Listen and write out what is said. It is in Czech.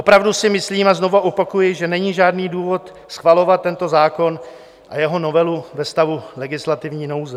Opravdu si myslím, a znovu opakuji, že není žádný důvod schvalovat tento zákon a jeho novelu ve stavu legislativní nouze.